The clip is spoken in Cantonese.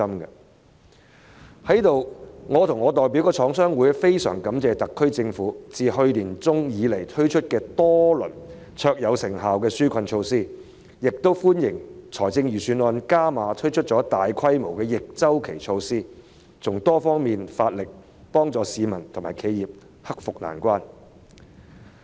在此，我與我代表的香港中華廠商聯合會非常感謝特區政府自去年年中推出多輪卓有成效的紓困措施，亦歡迎預算案加碼推出大規模的逆周期措施，從多方面着手，幫助市民和企業克服困難。